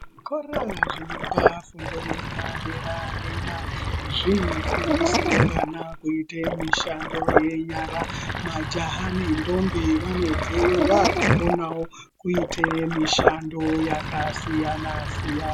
Zvikora zvinopa fundo yepaderadera zvinofundisewo vana kuite mishando yenyara majaha nendombi vanobveyo vaakukone kuitewo mishando yakasiyanasiyana.